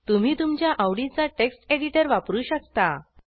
तुम्ही तुमच्या आवडीचा टेक्स्ट एडिटर वापरू शकता